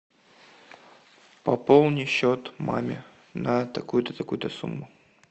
пополни счет маме на такую то такую то сумму